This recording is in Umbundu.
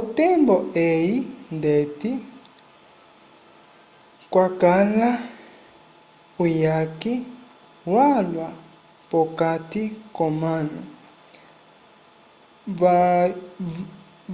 otembo eyi ndeti kwakala uyaki walwa p'okati k'omanu